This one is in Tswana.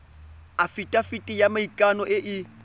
afitafiti ya maikano e e